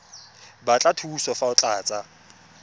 batla thuso fa o tlatsa